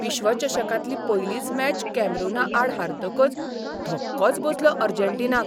विश्वचषकांतली पयलीच मॅच कॅमेरूनाआड हारतकच धक्कोच बसलो अर्जेंटिनाक.